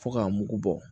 Fo k'a mugu bɔ